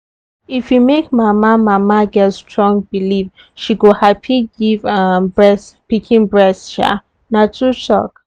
if you make mama mama get strong believe she go happy give um pikin breast. um na tru talk